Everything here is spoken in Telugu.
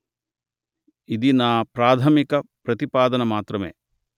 ఇది నా ప్రాధమిక ప్రతిపాదన మాత్రమే